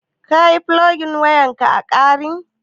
Ka yi fulogin wayan ƙa a ƙarin?